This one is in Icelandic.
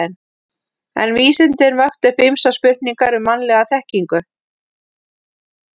En vísindin vöktu upp ýmsar spurningar um mannlega þekkingu.